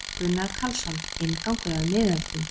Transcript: Gunnar Karlsson: Inngangur að miðöldum.